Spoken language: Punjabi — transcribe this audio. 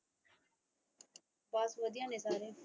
ਬਸ ਵਧੀਆ ਨੇ ਸਾਰੇ।